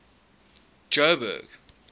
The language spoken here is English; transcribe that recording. joburg